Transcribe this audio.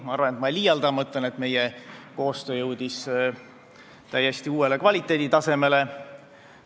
Ma arvan, et ma ei liialda, kui ma ütlen, et meie koostöö jõudis täiesti uuele kvaliteeditasemele.